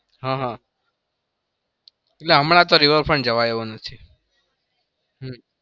હહ એટલે હમણાં તો river front જવાય એવું નથી.